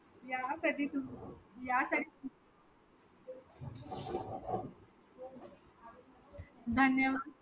या कधी तूम्ही यासाठी धन्यवाद